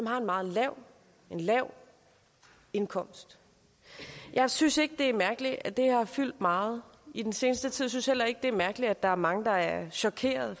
har en meget lav lav indkomst jeg synes ikke det er mærkeligt at det har fyldt meget i den seneste tid jeg synes heller ikke det er mærkeligt at der er mange der er chokerede